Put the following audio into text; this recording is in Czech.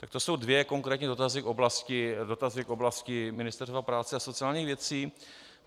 Tak to jsou dva konkrétní dotazy v oblasti Ministerstva práce a sociálních věcí.